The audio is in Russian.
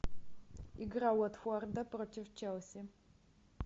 игра уотфорда против челси